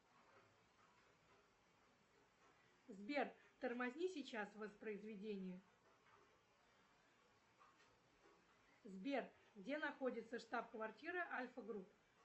сбер тормозни сейчас воспроизведение сбер где находится штаб квартира альфа групп